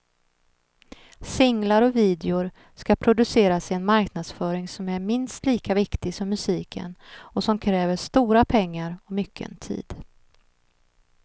Singlar och videor ska produceras i en marknadsföring som är minst lika viktig som musiken och som kräver stora pengar och mycken tid.